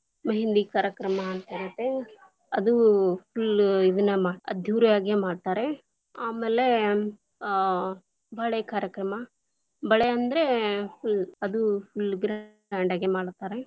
Mehendi lang:Foreign ಕಾರ್ಯಕ್ರಮ ಅಂತಿರುತ್ತೆ, ಅದು full lang:Foreign ಇದನ್ನ ಅದ್ದೂರಿಯಾಗಿಯೇ ಮಾಡ್ತಾರೆ, ಆಮೇಲೆ ಅ ಬಳೆ ಕಾರ್ಯಕ್ರಮ, ಬಳೆ ಅಂದ್ರೆ full lang:Foreign ಅದು full grand lang:Foreign ಆಗೇ ಮಾಡ್ತಾರೆ.